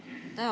Aitäh!